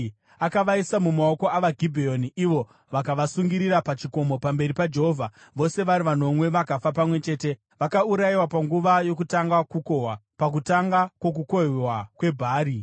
Akavaisa mumaoko avaGibheoni, ivo vakavasungirira pachikomo pamberi paJehovha. Vose vari vanomwe vakafa pamwe chete; vakaurayiwa panguva yokutanga kukohwa, pakutanga kwokukohwewa kwebhari.